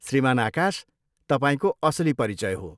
श्रीमान आकाश तपाईँको असली परिचय हो।